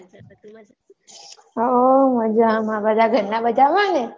હવ મજામાં બધા ઘરના મજામાં ને?